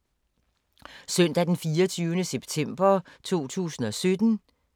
Søndag d. 24. september 2017